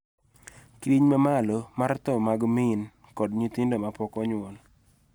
Kidieny ma malo mar tho mag min kod nyithindo ma pok onyuol